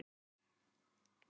Viltu að ég hjálpi þér?